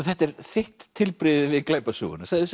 þetta er þitt tilbrigði við glæpasöguna segðu